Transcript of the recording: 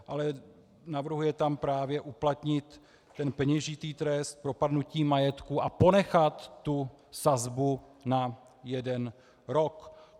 Ale navrhuje tam právě uplatnit ten peněžitý trest propadnutí majetku a ponechat tu sazbu na jeden rok.